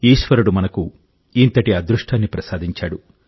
ఈశ్వరుడు మనకు ఇంతటి అదృష్టాన్ని ప్రసాదించాడు